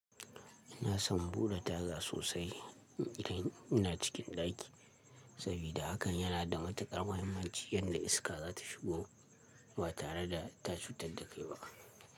Ina son buɗe taga sosai idan ina cikin ɗaki, saboda hakan yana da matuƙar muhimmanci yadda iska za ta shigo ba tare da ta cutar da kai ba.